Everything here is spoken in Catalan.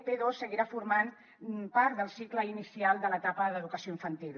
p2 seguirà formant part del cicle inicial de l’etapa d’educació infantil